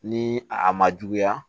Ni a ma juguya